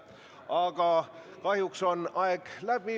Aga kahjuks on aeg läbi.